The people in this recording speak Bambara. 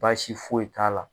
Baasi foyi t'a la.